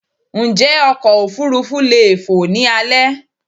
Njé ọkọ̀ òfurufú leè fò ni alé